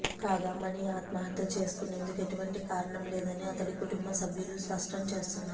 కాగా మణి ఆత్మహత్య చేసుకునేందుకు ఎటువంటి కారణం లేదని అతడి కుటుంబ సభ్యులు స్పష్టం చేస్తున్నారు